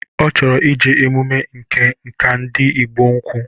Ọ chọrọ ije emume Ǹkà nke ndi Ịgbo ukwu